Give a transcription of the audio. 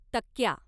तक्क्या